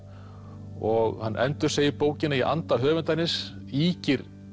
og hann endursegir bókina í anda höfundarins ýkir